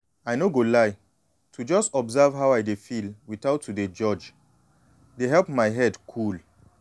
i no go lie to just observe how i dey feel without to dey judge dey help my head cool.